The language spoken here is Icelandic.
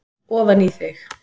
ofan í þig.